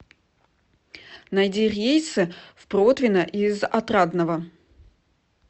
найди рейсы в протвино из отрадного